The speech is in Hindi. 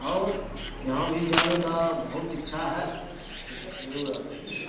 और यहाँ भी जाने का बहुत इच्छा हैं ।